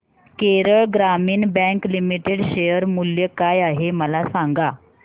Kerala Gramin bank limited share मूल्य काय आहे मला सांगा